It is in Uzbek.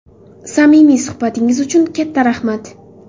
Samimiy suhbatingiz uchun katta rahmat.